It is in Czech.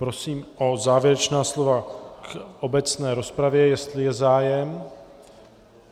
Prosím o závěrečná slova k obecné rozpravě, jestli je zájem.